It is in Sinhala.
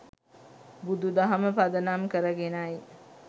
බුදු දහම පදනම් කරගෙනයි.